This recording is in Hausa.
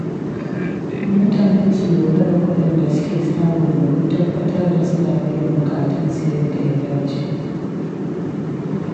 Mutane su lura da kuɗin da suke samu domin tabbatar da suna biyan buƙatunsu yadda ya dace.